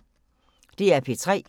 DR P3